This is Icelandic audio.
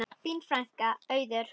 Þín frænka, Auður.